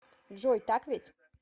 джой так ведь